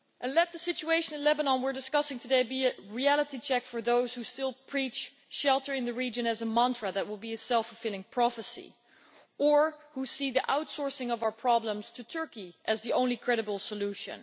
Let the situation in Lebanon we are discussing today be a reality check for those who still preach shelter in the region as a mantra that will be a self fulfilling prophecy, or who see the outsourcing of our problems to Turkey as the only credible solution.